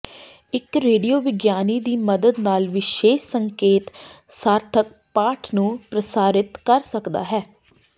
ਇੱਕ ਰੇਡੀਓ ਵਿਗਿਆਨੀ ਦੀ ਮਦਦ ਨਾਲ ਵਿਸ਼ੇਸ਼ ਸੰਕੇਤ ਸਾਰਥਕ ਪਾਠ ਨੂੰ ਪ੍ਰਸਾਰਿਤ ਕਰ ਸਕਦਾ ਹੈ